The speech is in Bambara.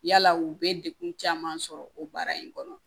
Yala u bɛ dekun caman sɔrɔ o baara in kɔnɔ